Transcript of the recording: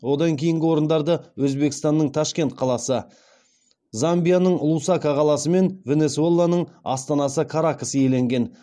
одан кейінгі орындарды өзбекстанның ташкент қаласы замбияның лусака қаласы мен венесуэланың астанасы каракас иеленген